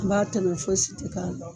I b'a tɛmɔ foyi si tɛ k'a la